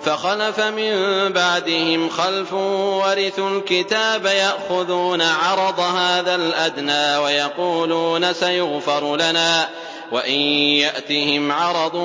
فَخَلَفَ مِن بَعْدِهِمْ خَلْفٌ وَرِثُوا الْكِتَابَ يَأْخُذُونَ عَرَضَ هَٰذَا الْأَدْنَىٰ وَيَقُولُونَ سَيُغْفَرُ لَنَا وَإِن يَأْتِهِمْ عَرَضٌ